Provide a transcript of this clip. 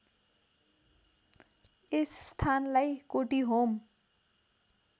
यस स्थानलाई कोटीहोम